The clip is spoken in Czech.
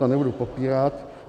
To nebudu popírat.